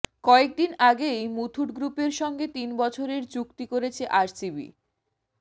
কয়েকদিন আগেই মুথুট গ্রুপের সঙ্গে তিন বছরের চুক্তি করেছে আরসিবি